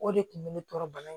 O de kun bɛ ne tɔɔrɔ bana in